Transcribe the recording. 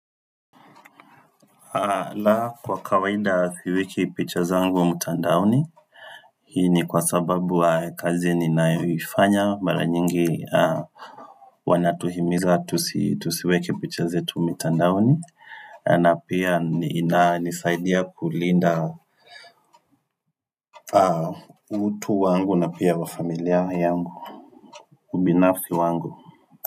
Na kwa kawaida siweki pichazangu wa mtandaoni hii ni kwa sababu wa kazi ninayoifanya mara nyingi wanatuhimiza tusiweke pichazetu mitandaoni na pia inisaidia kulinda utu wangu na pia wafamilia yangu ubinafsi wangu.